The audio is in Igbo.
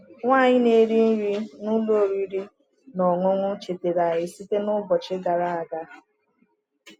Nwanyị na-eri nri n’ụlọ oriri na ọṅụṅụ chetara anyị site n’ụbọchị gara aga.